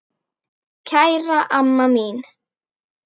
Kæra amma mín.